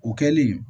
O kɛlen